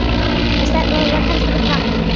En stefnan heldur ekki vatni.